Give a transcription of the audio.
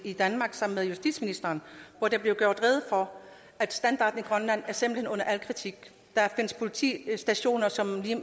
i danmark sammen med justitsministeren hvor der blev gjort rede for at standarden i grønland simpelt hen er under al kritik der findes politistationer som